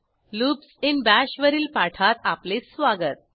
loops in bash वरील पाठात आपले स्वागत